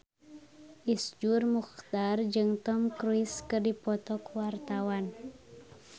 Iszur Muchtar jeung Tom Cruise keur dipoto ku wartawan